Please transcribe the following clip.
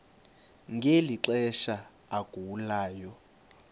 ngeli xesha agulayo